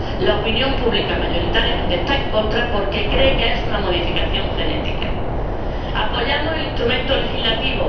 La opinión pública mayoritariamente está en contra, porque cree que es una modificación genética. Apoyamos el instrumento legislativo